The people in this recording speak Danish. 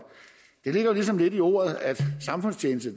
men det ligger jo ligesom i ordet at samfundstjeneste